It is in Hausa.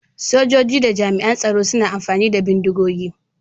Sojoji da jami'an tsaro suna amfani da bindigogi.